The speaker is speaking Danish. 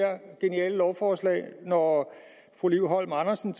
geniale lovforslag når fru liv holm andersen